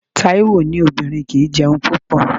Taiwo ní obìnrin kì í jẹun púpọ̀.